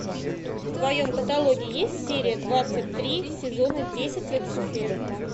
в твоем каталоге есть серия двадцать три сезона десять люцифер